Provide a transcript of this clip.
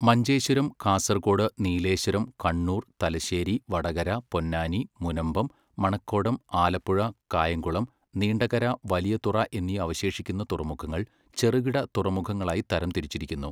മഞ്ചേശ്വരം, കാസർഗോഡ്, നീലേശ്വരം, കണ്ണൂർ, തലശ്ശേരി, വടകര, പൊന്നാനി, മുനമ്പം, മണക്കോടം, ആലപ്പുഴ, കായംകുളം, നീണ്ടകര, വലിയതുറ എന്നീ അവശേഷിക്കുന്ന തുറമുഖങ്ങൾ ചെറുകിട തുറമുഖങ്ങളായി തരം തിരിച്ചിരിക്കുന്നു.